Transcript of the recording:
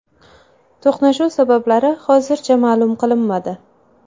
To‘qnashuv sabablari hozircha ma’lum qilinmadi.